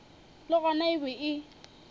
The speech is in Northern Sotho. le gona e be e